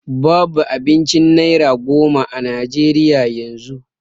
Babu abincin naira goma a najeriya yanzu